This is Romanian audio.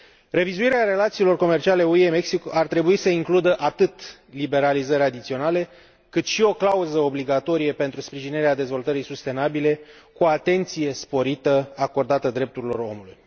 Revizuirea relațiilor comerciale UE Mexic ar trebui să includă atât liberalizări adiționale, cât și o clauză obligatorie pentru sprijinirea dezvoltării sustenabile, cu atenție sporită acordată drepturilor omului.